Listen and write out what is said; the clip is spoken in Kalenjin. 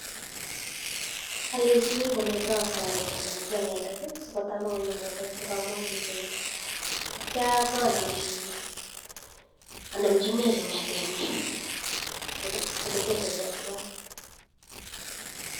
Alechinii kometa ataret anachii anendet sii kotebongony inendet ngaa amuu kikoet atya anamchinechii ngetetenyii oletetekeii tuwaii